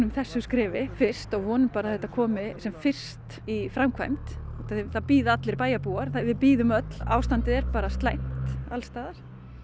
þessu skrefi fyrst og vonum bara að þetta komist sem fyrst í framkvæmd út af því það bíða allir bæjarbúar við bíðum öll ástandið er bara slæmt alls staðar